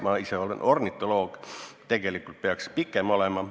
Ma ise olen ornitoloog ja tean, tegelikult peaks see pikem olema.